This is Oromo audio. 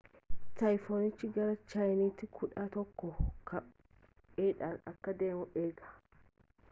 tayfonichi gara chaayinti kudhaa tokko kph'dhaan akka deemu eegama